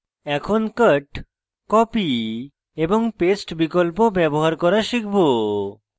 এখন cut copy এবং paste বিকল্প ব্যবহার করা শিখব